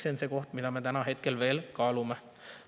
See on see, mida me veel kaalume.